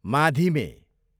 माधिमे